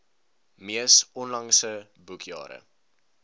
mees onlangse boekjare